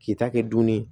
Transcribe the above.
K'i ta kɛ dunni ye